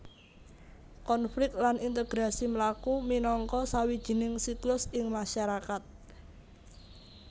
Konflik lan integrasi mlaku minangka sawijining siklus ing masarakat